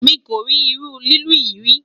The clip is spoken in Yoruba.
mí kori irú lilu yí rí